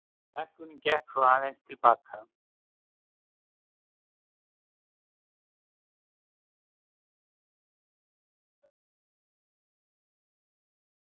Lækkunin gekk svo aðeins til baka